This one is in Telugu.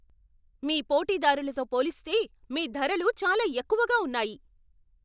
మీ పోటీదారులతో పోలిస్తే మీ ధరలు చాలా ఎక్కువగా ఉన్నాయి.